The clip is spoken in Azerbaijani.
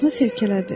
Başını silkələdi.